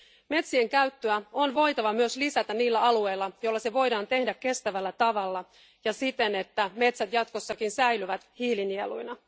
Metsien käyttöä on voitava myös lisätä niillä alueilla, joilla se voidaan tehdä kestävällä tavalla ja siten, että metsät jatkossakin säilyvät hiilinieluina.